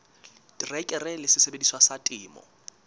terekere le sesebediswa sa temo